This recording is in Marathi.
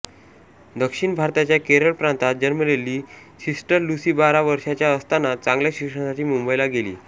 दक्षिण भारताच्या केरळ प्रांतात जन्मलेली सिस्टर लुसी बारा वर्षाच्या असताना चांगल्या शिक्षणासाठी मुंबईला गेली